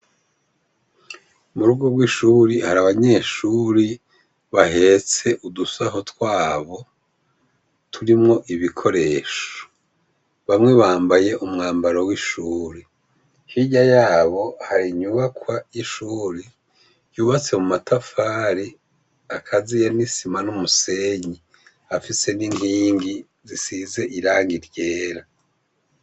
Murugo rw'ishuri hari abanyeshuri bahetse udusaho twabo turimwo ibikoresho bamwe bambaye umwambaro w'ishuri hirya yabo hari inyubakwa y'ishuri yubatse mu matafare akaziyene isima niumusenyi afise n'inkingi zisize iraga ryera.